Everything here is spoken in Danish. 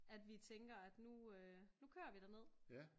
At vi tænker at nu øh kører vi derned